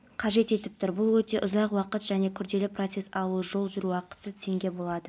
дамуының басты факторының бірі сондай-ақ заманауи тұрғыда тиімді полиция қызметі мемлекет пен халықтың бәсекеге қабілеттілігін